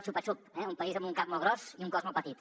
xupa xup eh un país amb un cap molt gros i un cos molt petit